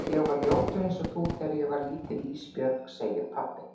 Ég var ljótur einsog þú þegar ég var lítill Ísbjörg, segir pabbi.